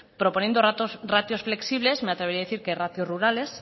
proponiendo ratios flexibles me atrevería a decir que ratios rurales